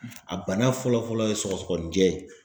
A bana fɔlɔfɔlɔ ye sɔgɔsɔgɔnijɛ ye